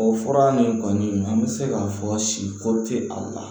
O fura nin kɔni an bɛ se k'a fɔ si ko tɛ a la